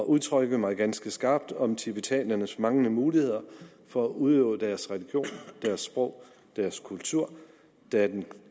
udtrykke mig ganske skarpt om tibetanernes manglende muligheder for at udøve deres religion deres sprog deres kultur da den